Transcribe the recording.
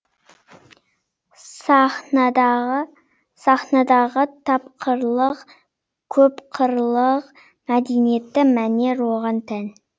сахнадағы тапқырлық көпқырлық мәдениетті мәнер оған тән